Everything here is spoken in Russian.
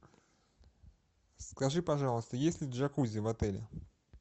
скажи пожалуйста есть ли джакузи в отеле